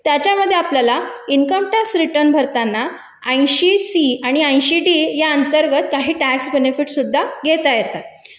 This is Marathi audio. त्याच्यामध्ये आपल्याला इन्कम टॅक्स रिटर्न मिळताना ऐंशी सी आणि ऐंशी डी या अंतर्गत आपल्याला कर लाभ सुद्धा घेता येतात